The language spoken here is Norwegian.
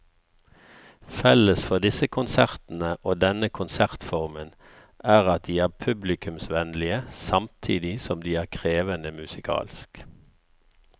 Felles for disse konsertene og denne konsertformen er at de er publikumsvennlige samtidig som de er krevende musikalsk.